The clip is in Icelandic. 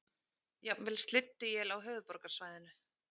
Jafnvel slydduél á höfuðborgarsvæðinu